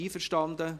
Einverstanden